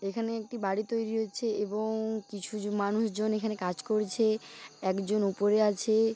এখানে একটি বাড়ি তৈরি হয়েছে এবং কিছু মানুষ জন এখানে কাজ করছে এক জন উপরে আছে।